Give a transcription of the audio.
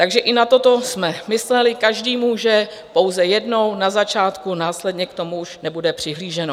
Takže i na toto jsme mysleli, každý může pouze jednou, na začátku, následně k tomu už nebude přihlíženo.